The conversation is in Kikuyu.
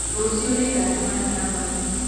Rũciũ nĩngacemania na mwarimũ.